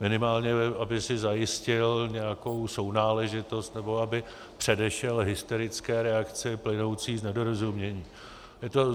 Minimálně aby si zajistil nějakou sounáležitost nebo aby předešel hysterické reakce plynoucí z nedorozumění.